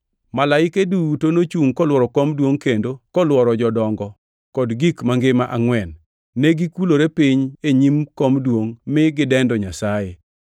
Malaike duto nochungʼ kolworo kom duongʼ kendo kolworo jodongo kod gik mangima angʼwen. Negikulore piny e nyim kom duongʼ mine gidendo Nyasaye.